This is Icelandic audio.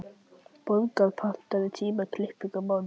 Borgar, pantaðu tíma í klippingu á mánudaginn.